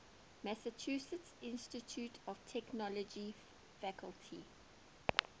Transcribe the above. massachusetts institute of technology faculty